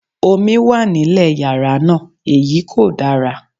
Omi wà nílé yàrá náà, èyí kò dára.